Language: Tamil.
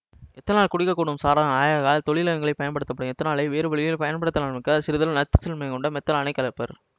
எத்தனால் குடிக்ககூடும் சாராயம் ஆகையால் தொழிலகங்களில் பயன்படும் எத்தனாலை வேறுவழிகளில் பயன்படுத்தாமலிருக்க சிறிதளவு நச்சு தன்மை கொண்ட மெத்தனாலைக் கலப்பர்